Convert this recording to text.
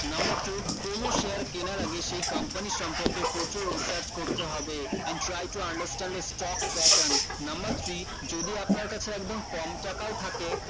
number two কোনো share কেনার আগে সেই company এর সম্পর্কে প্রচুর research করতে হবে and try to understand and stock pattern number three যদি আপনার কাছে একদম কম টাকাও থাকে